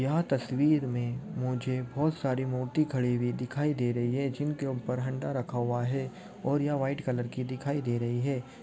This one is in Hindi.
यहां तसवीर में मुझे बहुत सारी मूर्ती खड़ी हुई दिखाई दे रही है जिनके ऊपर हनडा रखा हुआ है और ये व्हाइट कलर की दिखाई दे रही है।